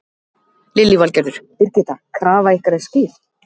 Lillý Valgerður: Birgitta, krafa ykkar er skýr?